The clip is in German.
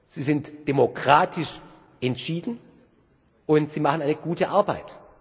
Sie sind demokratisch entschieden und sie machen eine gute Arbeit.